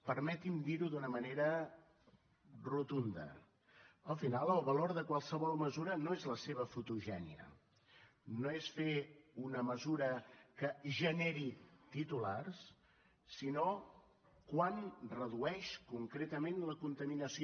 permeti’m dir ho d’una manera rotunda al final el valor de qualsevol mesura no és la seva fotogènia no és fer una mesura que generi titulars sinó quant redueix concretament la contaminació